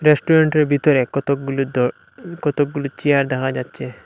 রেস্টুরেন্টের ভিতরে কতগুলি দ কতগুলি চেয়ার দেখা যাচ্ছে।